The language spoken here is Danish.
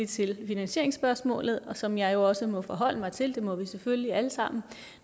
til finansieringsspørgsmålet som jeg jo også må forholde mig til det må vi selvfølgelig alle sammen